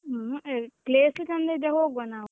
ಹ್ಮ್ ಆಹ್ place ಚಂದ ಇದ್ರೆ ಹೋಗ್ವಾ ನಾವು.